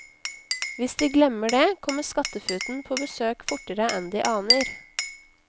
Hvis de glemmer det, kommer skattefuten på besøk fortere enn de aner.